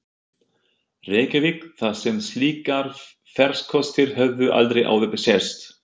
Reykjavík, þar sem slíkir farkostir höfðu aldrei áður sést.